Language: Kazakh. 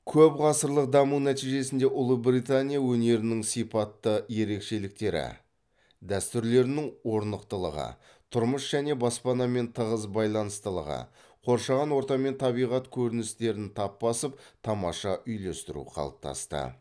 көп ғасырлық даму нәтижесінде ұлыбритания өнерінің сипатты ерекшеліктері дәстүрлерінің орнықтылығы тұрмыс және баспанамен тығыз байланыстылығы қоршаған орта мен табиғат көріністерін тап басып тамаша үйлестіру қалыптасты